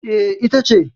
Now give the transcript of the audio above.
E, ita ce.